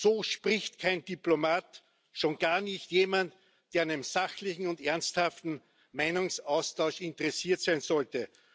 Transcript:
So spricht kein Diplomat, schon gar nicht jemand, der an einem sachlichen und ernsthaften Meinungsaustausch interessiert sein sollte.